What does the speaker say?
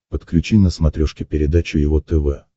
подключи на смотрешке передачу его тв